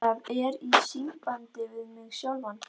Það er í sambandi við mig sjálfan.